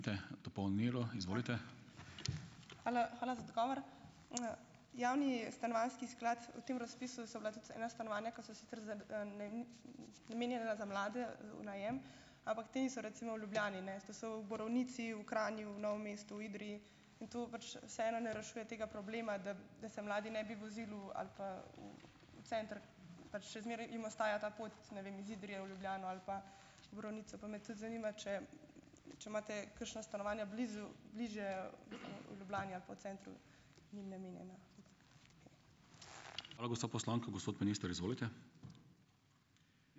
Hvala, hvala za odgovor. Javni stanovanjski sklad, v tem razpisu so bila tudi ena stanovanja, ki so sicer namenjena za mlade v, v najem, ampak ta niso recimo v Ljubljani, ne, to so v Borovnici, v Kranju, v Novem mestu, Idriji, in to pač vseeno ne rešuje tega problema, da, da se mladi ne bi vozili v ali pa v center, pač še zmeraj jim ostaja ta pot, ne vem, iz Idrije v Ljubljano ali pa Borovnice, pa me tudi zanima, če, če imate kakšna stanovanja blizu, bližje Ljubljani ali pa v centru njim namenjena.